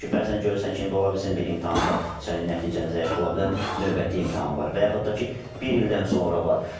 Çünki bəzən görürsən ki, indi ola bilsin bir imtahanda sənin nəticən zəif ola bilər, növbəti imtahan var və yaxud da ki, bir ildən sonra var.